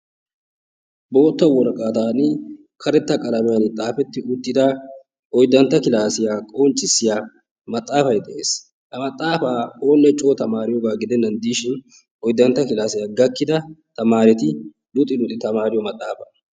Bootta woraqataan karetta qalamiyaan xaafeti uttida oyddantta klassiyaa qonccissiyaa maxaafay de'ees. Ha maxaafa oone coo tamariyooga gidenan diishin oyddantta klassiya gakida tamareti luxi luxi tamariyo maxaafa.